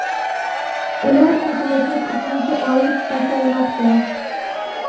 ular ketma-ket uchinchi oy pasaymoqda.